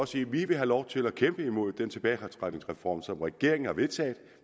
sige at vi vil have lov til at kæmpe imod den tilbagetrækningsreform som regeringen har vedtaget